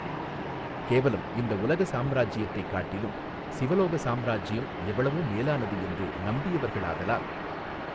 கேவலம் இந்த உலக சாம்ராஜ்யத்தைக் காட்டிலும் சிவலோக சாம்ராஜ்யம் எவ்வளவோ மேலானது என்று நம்பியவர்களாதலால்.